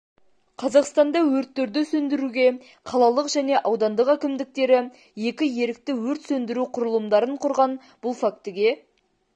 қазақстанда өрттерді сөндіруге қалалық және аудандық әкімдіктері екі ерікті өрт сөндіру құрылымдарын құрған бұл фактіге